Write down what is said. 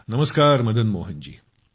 नमस्कार जी